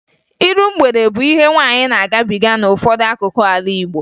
Iru mgbede bụ ihe nwaanyị na-agabiga n'ụfọdụ akụkụ ala Igbo